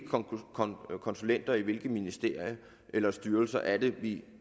konsulenter i hvilke ministerier eller i styrelser er det